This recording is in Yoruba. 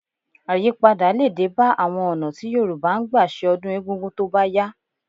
Àyípadà lè dé bá àwọn ọ̀nà tí Yorùbá ń gbà ṣe ọdún egungun tó bá yá